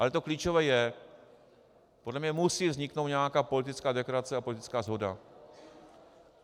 A to klíčové je - podle mě musí vzniknout nějaká politická deklarace a politická shoda.